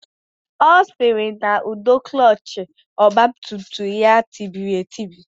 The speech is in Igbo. Ọ sịrị na ụdọ klọọchị ọgbatumtum ya tibiri etibi